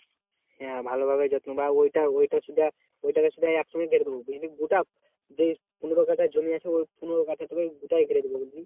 হ্যাঁ ভালোভাবে যত্ন বা ওইটা ওইটা শুদ্ধ ওইটাকে শুদ্ধ একসঙ্গে ঘিরে দেব বুঝলি গোটা পনেরো কাঠা জমি আছে ওই পনেরো কাঠা দুটাই ঘিরে দেবো বুঝলি?